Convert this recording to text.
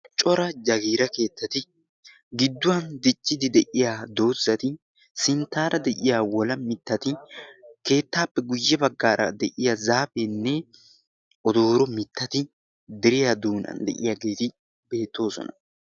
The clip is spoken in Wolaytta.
cora jagiira keettati gidduwan diccidi de'iya doozati sinttaara de'iya wola mittati keettaappe guyye baggaara de'iya zaafeenne odooro mittati deriyaa doonan de'iyaageeti beettoosona